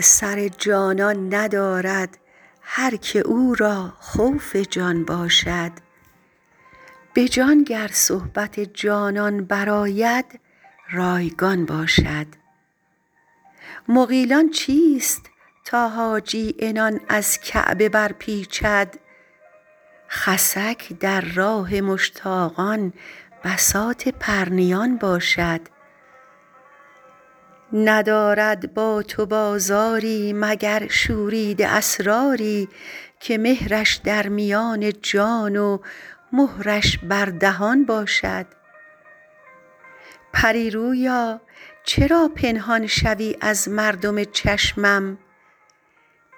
سر جانان ندارد هر که او را خوف جان باشد به جان گر صحبت جانان برآید رایگان باشد مغیلان چیست تا حاجی عنان از کعبه برپیچد خسک در راه مشتاقان بساط پرنیان باشد ندارد با تو بازاری مگر شوریده اسراری که مهرش در میان جان و مهرش بر دهان باشد پری رویا چرا پنهان شوی از مردم چشمم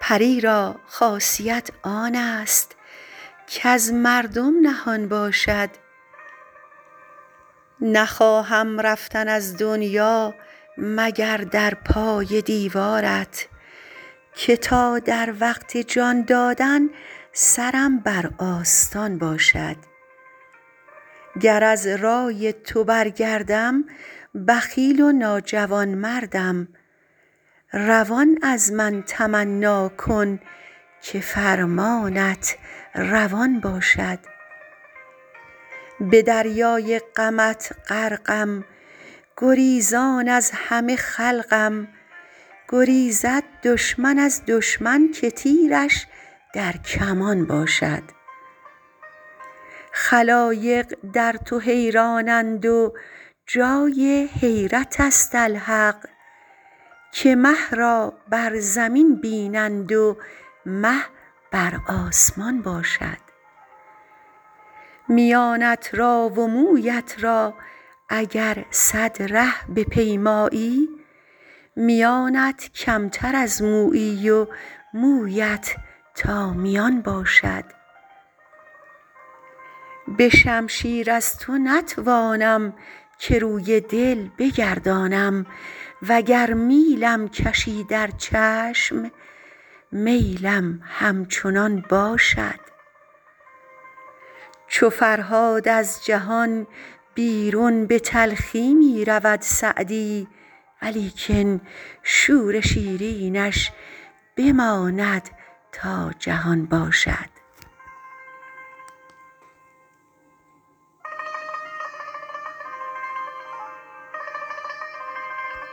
پری را خاصیت آن است کز مردم نهان باشد نخواهم رفتن از دنیا مگر در پای دیوارت که تا در وقت جان دادن سرم بر آستان باشد گر از رای تو برگردم بخیل و ناجوانمردم روان از من تمنا کن که فرمانت روان باشد به دریای غمت غرقم گریزان از همه خلقم گریزد دشمن از دشمن که تیرش در کمان باشد خلایق در تو حیرانند و جای حیرت است الحق که مه را بر زمین بینند و مه بر آسمان باشد میانت را و مویت را اگر صد ره بپیمایی میانت کمتر از مویی و مویت تا میان باشد به شمشیر از تو نتوانم که روی دل بگردانم و گر میلم کشی در چشم میلم همچنان باشد چو فرهاد از جهان بیرون به تلخی می رود سعدی ولیکن شور شیرینش بماند تا جهان باشد